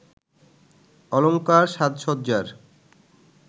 অলঙ্কার সাজসজ্জার